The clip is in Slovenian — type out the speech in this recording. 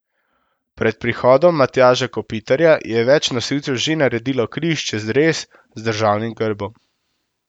Pred prihodom Matjaža Kopitarja je več nosilcev že naredilo križ čez dres z državnim grbom.